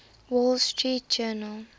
wall street journal